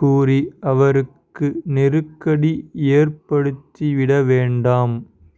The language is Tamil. கூறி அவருக்கு நெருக்கடி ஏற்படுத்திவிட வேண்டாம்